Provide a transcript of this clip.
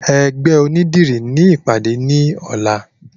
Ẹgbẹ́ onídìrí ni ìpàdé ní ọ̀la